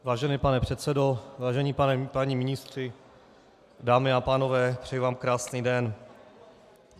Vážený pane předsedo, vážení páni ministři, dámy a pánové, přeji vám krásný den.